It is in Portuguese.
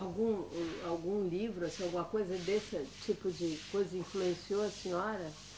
Algum um, algum livro, assim alguma coisa desse tipo de coisa influenciou a senhora?